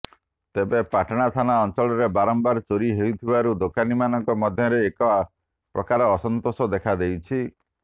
ତେବେ ପାଟଣା ଥାନା ଅଞ୍ଚଳରେ ବାରମ୍ବାର ଚୋରି ହେଉଥିବାରୁ ଦୋକାନୀମାନଙ୍କ ମଧ୍ୟରେ ଏକ ପ୍ରକାର ଅସନ୍ତୋଷ ଦେଖା ଦେଇଛି